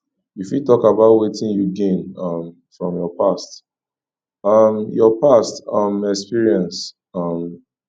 you fit talk about wetin you gain um from your past um your past um experiences um